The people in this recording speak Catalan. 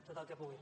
tot el que pugui